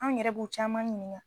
An ɲɛrɛ b'u caman ɲininka